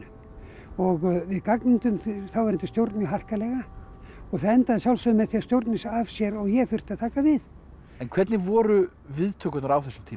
og við gagnrýndum þáverandi stjórn mjög harkalega og það endaði að sjálfsögðu með því að stjórnin sagði af sér og ég þurfti að taka við en hvernig voru viðtökurnar á þessum tíma